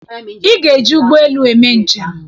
Ị ga-eji ụgbọ elu eme njem!